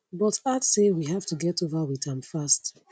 but add say we have to get over wit am fast